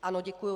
Ano, děkuji.